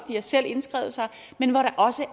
de har selv indskrevet sig men hvor der også